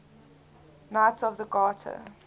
knights of the garter